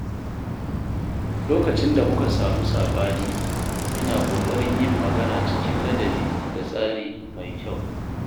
Lokacin da muka samu saɓani, ina ƙoƙarin yin magana cikin ladabi da tsari mai kyau.